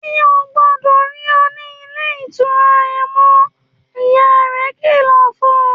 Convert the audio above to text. ‘Mi ò gbó̩dò̩ rí o̩ ní ilé ìtura ye̩n mó̩!’, ìyá rè̩ kìlò̩ fun